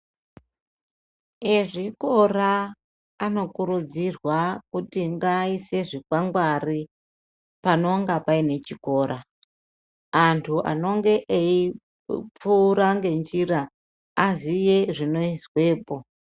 Ezvikora anokurudzirwa kuti ngaaise zvikwangwari panonga paine chikora. Anthu anenge eipfuura ngenjira aziye zvinoizwepo.